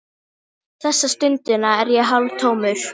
Þessa stundina er ég hálftómur.